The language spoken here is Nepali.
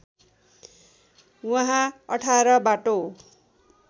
वहाँ १८ बाटो